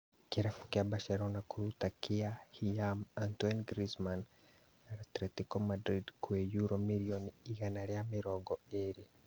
Kĩrabu kĩa Barcelona kũruta kĩa hinyaam Antoine Griezmann, Antelico Madrid kwĩ yuro mirioni igana rĩa mĩrongo ĩrĩ